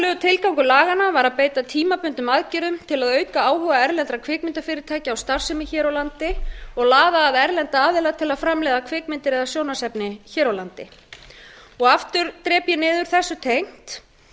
upphaflegur tilgangur laganna var að beita tímabundnum aðgerðum til að auka áhuga erlendra kvikmyndafyrirtækja á starfsemi hér á landi og laða að erlenda aðila til að laða að kvikmyndir eða sjónvarpsefni hér á landi aftur drep ég niður þessu tengt